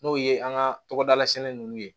N'o ye an ka tɔgɔdala sɛnɛ ninnu ye